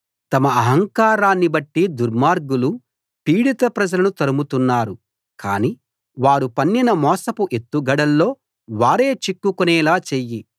తమ అహంకారాన్నిబట్టి దుర్మార్గులు పీడిత ప్రజలను తరుముతున్నారు కానీ వారు పన్నిన మోసపు ఎత్తుగడల్లో వారే చిక్కుకునేలా చెయ్యి